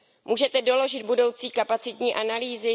Můžete doložit budoucí kapacitní analýzy?